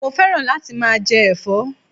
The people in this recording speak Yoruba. Mo féràn láti máa je èfó